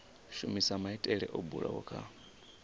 shumisa maitele o bulwaho kha